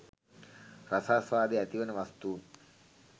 රසාස්වාදය ඇතිවන වස්තූන්